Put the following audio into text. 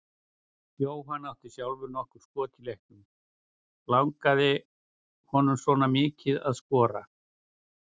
Jóhann átti sjálfur nokkur skot í leiknum, langaði honum svona mikið að skora?